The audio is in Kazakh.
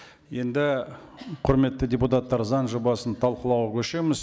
енді құрметті депутаттар заң жобасын талқылауға көшеміз